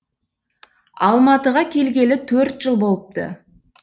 алматыға келгелі төрт жыл болыпты